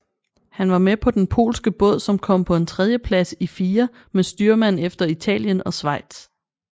Han var med på den polske båd som kom på en tredjeplads i fire med styrmand efter Italien og Schweiz